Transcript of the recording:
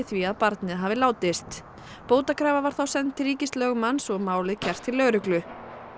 því að barnið hafi látist bótakrafa var þá send til ríkislögmanns og málið kært til lögreglu